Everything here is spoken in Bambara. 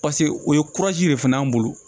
paseke o ye kurazi de fana y'an bolo